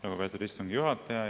Lugupeetud istungi juhataja!